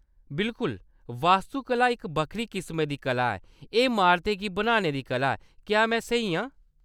बिल्कुल! वास्तुकला इक बक्खरी किसमै दी कला ऐ; एह्‌‌ इमारतें गी बनाने दी कला ऐ। क्या‌ में स्हेई आं?